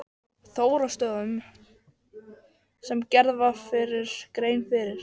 Þóroddsstöðum sem gerð hefur verið grein fyrir.